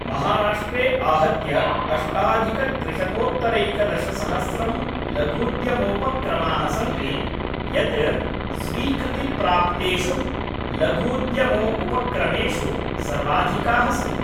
महाराष्ट्रे आहत्य अष्टाधिकत्रिशतोत्तरैकादशसहस्रं लघूद्यमोपक्रमाः सन्ति, यत् स्वीकृतिप्राप्तेषु लघूद्यमोउपक्रमेषु सर्वाधिकाः सन्ति।